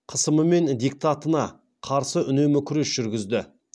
қысымы мен диктатына қарсы үнемі күрес жүргізді